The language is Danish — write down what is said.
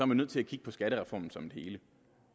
man nødt til at kigge på skattereformen som et hele